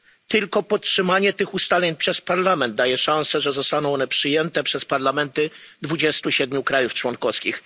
Tylko podtrzymanie tych ustaleń przez Parlament daje szansę, że zostaną one przyjęte przez parlamenty 27 krajów członkowskich.